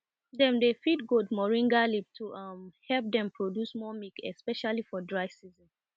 dem dey feed goat moringa leaf to um help them produce more milk especially for dry season